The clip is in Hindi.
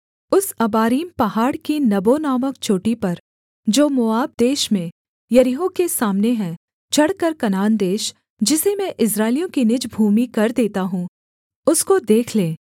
उस अबारीम पहाड़ की नबो नामक चोटी पर जो मोआब देश में यरीहो के सामने है चढ़कर कनान देश जिसे मैं इस्राएलियों की निज भूमि कर देता हूँ उसको देख ले